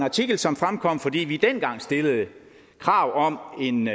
artikel som fremkom fordi vi dengang stillede krav om en